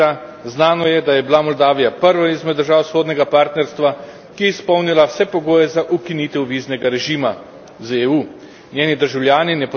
Postopoma se reformira, znano je, da je bila Moldavija prva izmed držav vzhodnega partnerstva, ki je izpolnila vse pogoje za ukinitev viznega režima z EU.